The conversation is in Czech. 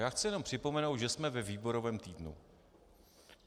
Já chci jenom připomenout, že jsme ve výborovém týdnu.